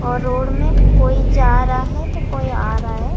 और रोड में कोई जा रहा हैं तो कोई आ रहा हैं।